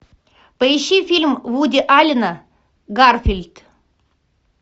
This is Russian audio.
поищи фильм вуди аллена гарфилд